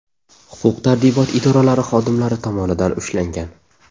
huquq-tartibot idoralari xodimlari tomonidan ushlangan.